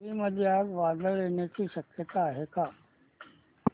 पुरी मध्ये आज वादळ येण्याची शक्यता आहे का